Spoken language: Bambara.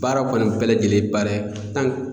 Baara kɔni bɛɛ lajɛlen baara